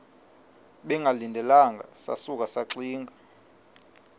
bengalindelanga sasuka saxinga